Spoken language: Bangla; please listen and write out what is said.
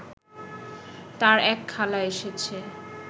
তার এক খালা এসেছে